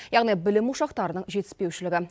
яғни білім ошақтарының жетіспеушілігі